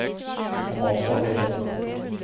Amanda Helland